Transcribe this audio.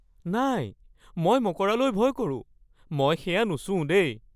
নাই! মই মকৰালৈ ভয় কৰোঁ। মই সেয়া নুচুওঁ দেই।